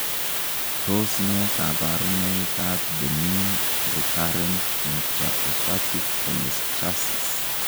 Tos nee koborunoikab Benign recurrent intrahepatic cholestasis?